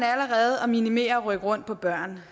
at minimere det at rykke rundt på børn